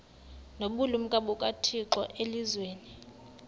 nobulumko bukathixo elizwini